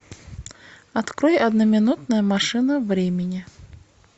открой одноминутная машина времени